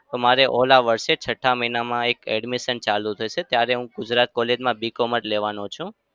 મારે ઓલા વરસે જ છઠ્ઠા મહિનામાં એક admission ચાલુ થશે. ત્યારે હું ગુજરાત college માં B com જ લેવાનો છું.